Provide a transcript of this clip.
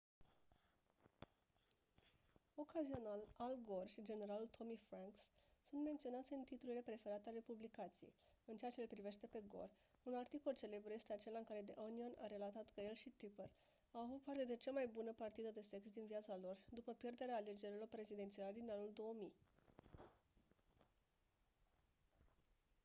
ocazional al gore și generalul tommy franks sunt menționați în titlurile preferate ale publicației în ceea ce-l privește pe gore un articol celebru este acela în care the onion a relatat că el și tipper au avut cea mai bună partidă de sex din viața lor după pierderea alegerilor prezidențiale din anul 2000